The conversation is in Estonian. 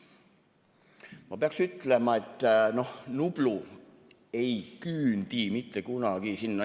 Ma pean ütlema, et Nublu ei küündi mitte kunagi sinnani.